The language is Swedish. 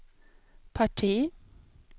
parti